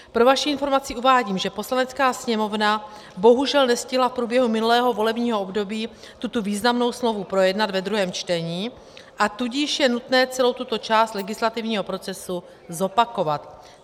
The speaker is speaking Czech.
Pro vaši informaci uvádím, že Poslanecká sněmovna bohužel nestihla v průběhu minulého volebního období tuto významnou smlouvu projednat ve druhém čtení, a tudíž je nutné celou tuto část legislativního procesu zopakovat.